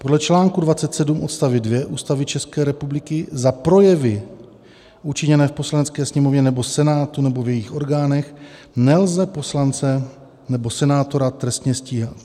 Podle článku 27 odst. 2 Ústavy České republiky za projevy učiněné v Poslanecké sněmovně nebo Senátu nebo v jejich orgánech nelze poslance nebo senátora trestně stíhat.